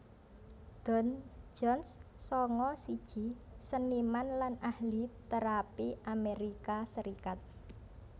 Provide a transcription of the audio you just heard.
Don Jones sanga siji seniman lan ahli térapi Amerika Serikat